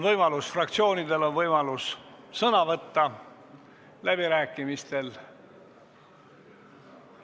Fraktsioonidel on võimalus võtta sõna läbirääkimistel.